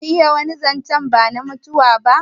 Zamu iya wani zancen bana mutuwa ba?